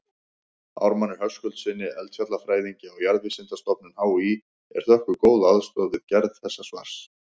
Ármanni Höskuldssyni eldfjallafræðingi á Jarðvísindastofnun HÍ er þökkuð góð aðstoð við gerð þessa svars.